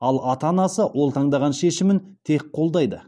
ал ата анасы ол таңдаған шешімін тек қолдайды